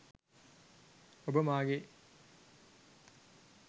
ඔබ මාගේ